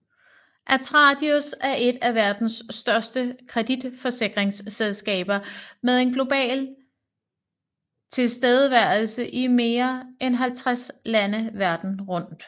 Atradius er et af verdens største kreditforsikringsselskaber med en global tilstedeværelse i mere end 50 lande verden rundt